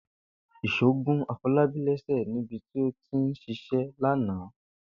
Ìs̩ó gún Afo̩lábí lé̩sè̩ níbi tí ó ti ń s̩is̩é̩ lánàá